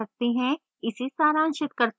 इसे सारांशित करते हैं